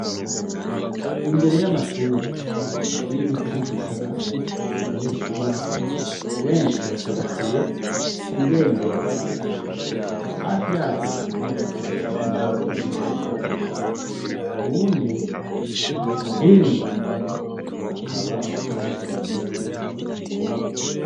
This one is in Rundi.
Imbere y'amashuri, Ibiti b'isakaye abanyeshuri benshi bacagatiye ibendera .Hafi yaryo hakaba hari umuntu yambaye impuzu zirabura uwundi hino akaba yasokoroye umutwe umoye.